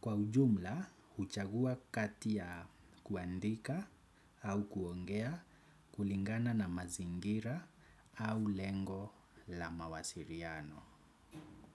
Kwa ujumla, huchagua katia kuandika au kuongea kulingana na mazingira au lengo la mawasiriano.